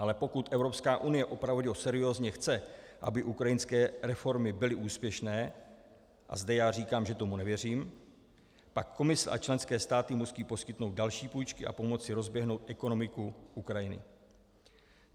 Ale pokud Evropská unie opravdu seriózně chce, aby ukrajinské reformy byly úspěšné - a zde já říkám, že tomu nevěřím - pak Komise a členské státy musí poskytnout další půjčky a pomoci rozběhnout ekonomiku Ukrajiny.